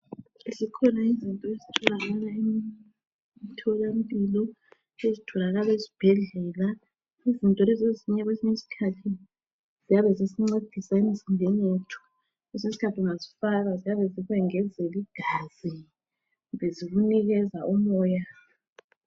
Zikhona izinto ezitholakala emtholampilo, ezitholakala esibhedlela, izinto lezi kwesinye isikhathi ziyabe zisincedisa empilweni zethu. Kwesinye isikhathi ziyabe zikwengezela igazi kumbe zikunikeza umoya.